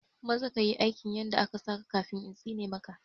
Maza ka yi aikin yadda aka saka kafin intsine ma ka